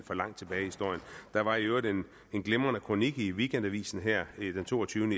for langt tilbage i historien der var i øvrigt en glimrende kronik i weekendavisen her den toogtyvende